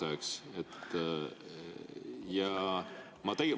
Mõneks ajaks viimane.